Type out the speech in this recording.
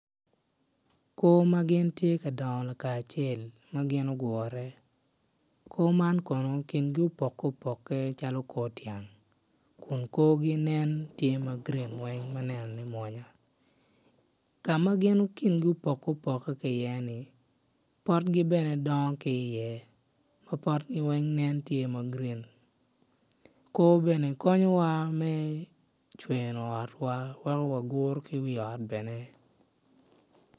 Koo ma gin tye ka dongo lakacel ma gin ogure koo man kono gingi opokeopoke calo kor tyen kun korgi nen tye ma grin weng ma nenone mwonya ka ma gin gingi opokeopoke ki iye-ni, potgi bene dongo ki iye ma potgi weng nen tye ma grin koo bene konyowa me cweno otwa weko waguro ki wi ot bene.